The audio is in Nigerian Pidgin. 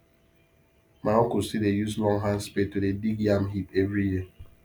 my uncle still dey use long hand spade to dey dig yam heap every year